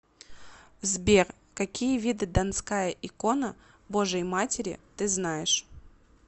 сбер какие виды донская икона божией матери ты знаешь